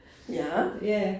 Ja